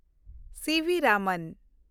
CB. Raman